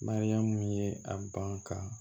Mariyamu ye a ban ka